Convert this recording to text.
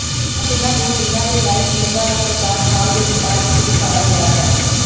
ਇਨ੍ਹਾਂ ਤਿੰਨਾਂ ਦੂਰਬੀਨਾਂ ਦੇ ਲਾਈਵ ਈਮੇਜ਼ਾਂ ਦਾ ਪ੍ਰਕਾਸ਼ ਹਾਲ ਦੇ ਦਿਕਾਸ਼ ਵਿਚ ਦਿਖਾਇਆ ਗਿਆ ਹੈ